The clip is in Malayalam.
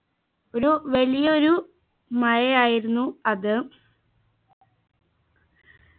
ഒരു വലിയ ഒരു മഴയായിരുന്നു അത്